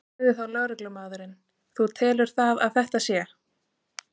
Sagði þá lögreglumaðurinn: Þú telur það að þetta sé?